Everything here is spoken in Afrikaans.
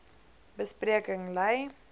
be spreking lei